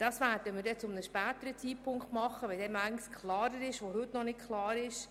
Das werden wir zu einem späteren Zeitpunkt tun, wenn manches klarer ist, das heute noch nicht klar ist.